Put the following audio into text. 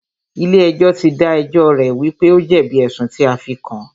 Ilé ẹjọ́ tí dá ẹjọ́ rẹ̀ wípé o jẹ̀bi ẹ̀sùn tí a fí kàn án.